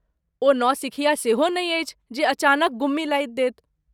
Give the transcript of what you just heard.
ओ नौसिखिया सेहो नहि अछि जे अचानक गुम्मी लाधि देत।